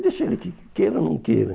Deixa ele que queira ou não queira.